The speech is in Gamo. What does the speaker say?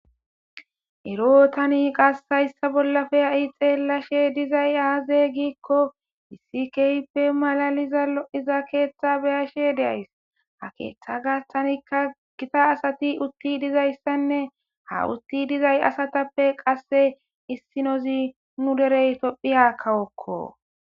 Ero Tani qase haysa bollappe xelashe dizay aaze gikoni issi Keehipe malaliza lo'za keetha be'ishe de'ays , ha keetha gathanika Gita asati utid dizaysanne ha uti diza asatappe qase Issinozi nu dere tophiya kawoko.